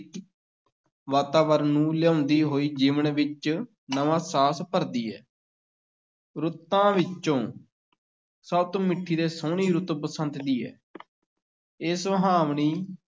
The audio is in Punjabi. ਵਾਤਾਵਰਨ ਨੂੰ ਲਿਆਉਂਦੀ ਹੋਈ ਜੀਵਨ ਵਿੱਚ ਨਵਾਂ ਸਾਹਸ ਭਰਦੀ ਹੈ ਰੁੱਤਾਂ ਵਿੱਚੋਂ ਸਭ ਤੋਂ ਮਿੱਠੀ ਤੇ ਸੋਹਣੀ ਰੁੱਤ ਬਸੰਤ ਦੀ ਹੈ ਇਹ ਸੁਹਾਵਣੀ